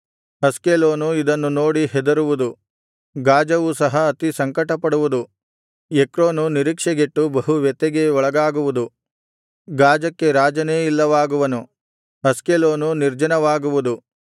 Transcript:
Ashkelon ಇದನ್ನು ನೋಡಿ ಹೆದರುವುದು ಗಾಜವು ಸಹ ಅತಿ ಸಂಕಟಪಡುವುದು ಎಕ್ರೋನು ನಿರೀಕ್ಷೆಗೆಟ್ಟು ಬಹು ವ್ಯಥೆಗೆ ಒಳಗಾಗುವುದು ಗಾಜಕ್ಕೆ ರಾಜನೇ ಇಲ್ಲವಾಗುವನು ಅಷ್ಕೆಲೋನು ನಿರ್ಜನವಾಗುವುದು